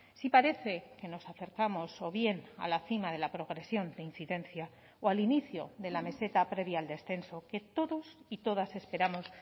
sí parece que nos acercamos o bien a la cima de la progresión de incidencia o al inicio de la meseta previa al descenso que todos y todas esperamos